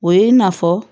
O ye i n'a fɔ